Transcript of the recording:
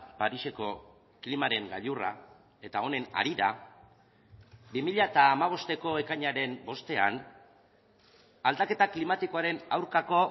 pariseko klimaren gailurra eta honen harira bi mila hamabosteko ekainaren bostean aldaketa klimatikoaren aurkako